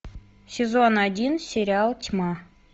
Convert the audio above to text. сезон один сериал тьма